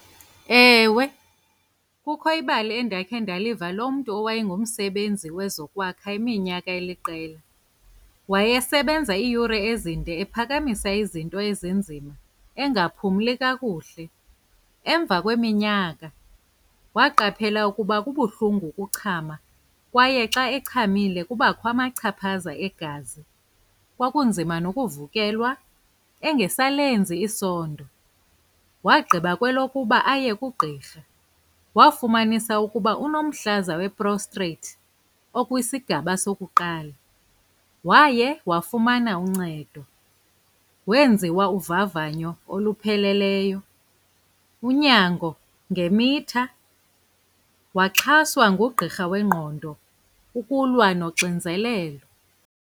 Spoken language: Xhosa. Ewe, kukho ibali endakhe ndaliva lomntu owayengumsebenzi wezokwakha iminyaka eliqela. Wayesebenza iiyure ezinde ephakamisa izinto ezinzima engaphumli kakuhle. Emva kweminyaka waqaphela ukuba kubuhlungu ukuchama kwaye xa echamile kubakho amachaphaza egazi. Kwakunzima nokuvukelwa engesalenzi isondo. Wagqiba kwelokuba aye kugqirha. Wafumanisa ukuba unomhlaza we-Prostate okwisigaba sokuqala. Waye wafumana uncedo. Wenziwa uvavanyo olupheleleyo, unyango ngemitha, waxhaswa ngugqirha wengqondo ukulwa noxinzelelo.